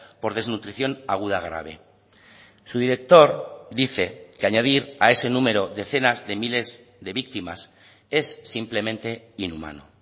por desnutrición aguda grave su director dice que añadir a ese número decenas de miles de víctimas es simplemente inhumano